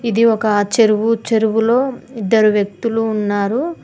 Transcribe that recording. ఇది ఒక చెరువు చెరువులో ఇద్దరు వ్యక్తులు ఉన్నారు.